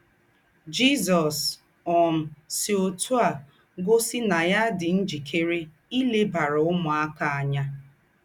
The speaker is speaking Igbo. Jízọ̀s um sí ótù á gósì ná yà dì ńjìkèrè ílèbàrà úmùákà ányà.